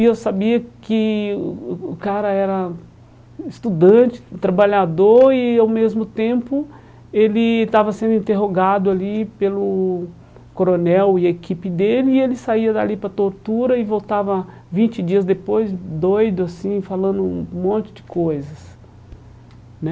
E eu sabia que o o o cara era estudante, trabalhador e, ao mesmo tempo, ele estava sendo interrogado ali pelo coronel e equipe dele e ele saía dali para tortura e voltava vinte dias depois doido assim, falando um monte de coisas né.